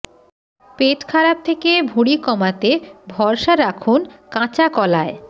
পেট খারাপ থেকে ভুঁড়ি কমাতে ভরসা রাখুন কাঁচা কলায়